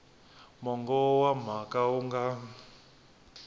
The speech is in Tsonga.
mongo wa mhaka wu nga